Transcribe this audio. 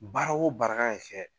Baara o baara kan ka kɛ